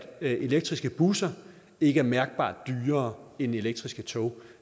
elektriske busser ikke er mærkbart dyrere end elektriske tog